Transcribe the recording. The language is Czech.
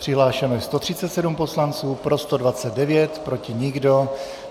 Přihlášeno je 137 poslanců, pro 129, proti nikdo.